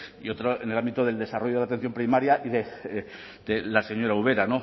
y otro en el ámbito del desarrollo de la atención primaria y de la señora ubera